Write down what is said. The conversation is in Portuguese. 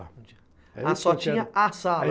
Ah, só tinha a sala.